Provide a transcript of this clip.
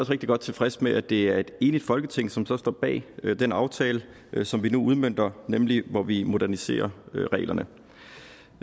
rigtig godt tilfreds med at det er et enigt folketing som så står bag den aftale som vi nu udmønter nemlig hvor vi moderniserer reglerne